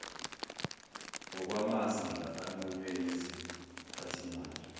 ngokwamazinga anqunywe yiziphathimandla